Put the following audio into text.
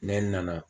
Ne nana